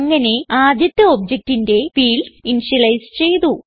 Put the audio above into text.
അങ്ങനെ ആദ്യത്തെ ഒബ്ജക്ട് ന്റെ ഫീൽഡ്സ് ഇനിഷ്യലൈസ് ചെയ്തു